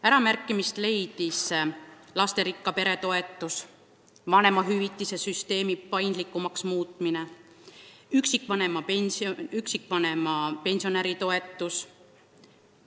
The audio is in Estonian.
Äramärkimist leidsid lasterikka pere toetus, vanemahüvitise süsteemi paindlikumaks muutmine, üksikvanema ja üksi elava pensionäri toetus.